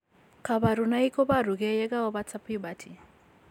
Kabarunaik koboru gee yegaobata puberty